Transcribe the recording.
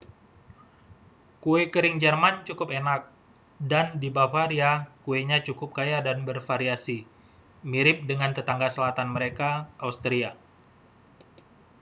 kue kering jerman cukup enak dan di bavaria kuenya cukup kaya dan bervariasi mirip dengan tetangga selatan mereka austria